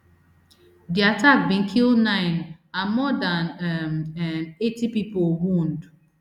di attack bin kill nine and more dan um um eighty pipo wound